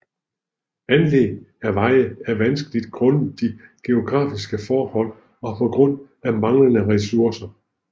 Anlæg af veje er vanskeligt grundet de geografiske forhold og på grund af manglende ressourcer